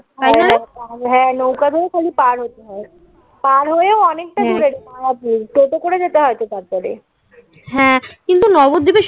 হ্যাঁ নৌকা ধরে খালি পার হতে হয়. পার হয়েও অনেকটা দূরে মায়াপুর টোটো করে যেতে হয় তো তারপরে হ্যাঁ. কিন্তু নবদ্বীপে সে